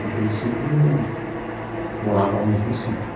De princípio, morávamos num sítio.